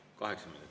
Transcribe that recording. Kaheksa minutit.